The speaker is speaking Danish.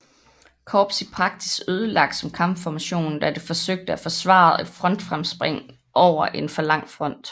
Korps i praksis ødelagt som kampformation da det forsøgte at forsvare et frontfremspring over en for lang front